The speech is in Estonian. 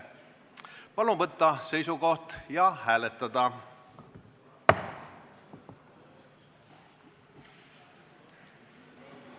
Palun võtta seisukoht ja hääletada!